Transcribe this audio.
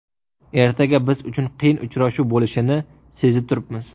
Ertaga biz uchun qiyin uchrashuv bo‘lishini sezib turibmiz.